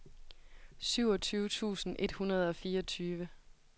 syvogtyve tusind et hundrede og fireogtyve